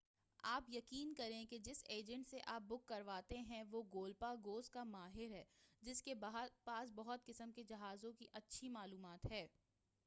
آپ یقین کریں کہ جس ایجنٹ سے آپ بک کرواتے ہیں وہ گولپاگوز کا ماہر ہے جس کے پاس بہت قسم کے جہازوں کی اچھی معلومات ہے